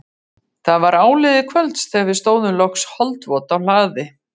Það var áliðið kvölds þegar við stóðum loks holdvot á hlaði